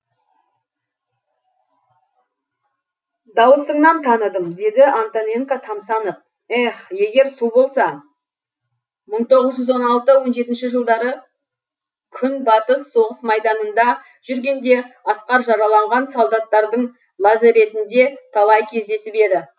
дауысыңнан таныдым деді антоненко тамсанып эх егер су болса мың тоғыз жүз он алты он жетінші жылдары күнбатыс соғыс майданында жүргенде асқар жараланған солдаттардың лазаретінде талай кездесіп еді